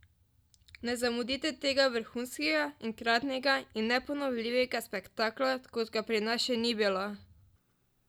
Ne zamudite tega vrhunskega, enkratnega in neponovljivega spektakla kot ga pri nas še ni bilo!